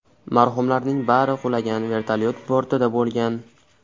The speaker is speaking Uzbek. Marhumlarning bari qulagan vertolyot bortida bo‘lgan.